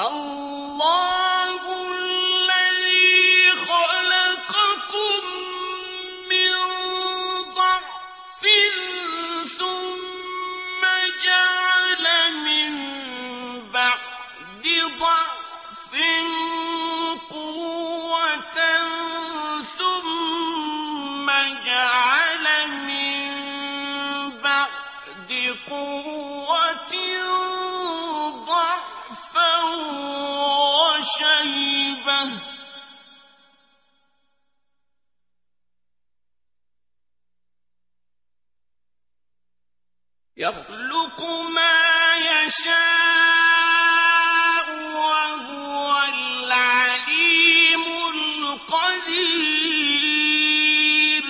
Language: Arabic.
اللَّهُ الَّذِي خَلَقَكُم مِّن ضَعْفٍ ثُمَّ جَعَلَ مِن بَعْدِ ضَعْفٍ قُوَّةً ثُمَّ جَعَلَ مِن بَعْدِ قُوَّةٍ ضَعْفًا وَشَيْبَةً ۚ يَخْلُقُ مَا يَشَاءُ ۖ وَهُوَ الْعَلِيمُ الْقَدِيرُ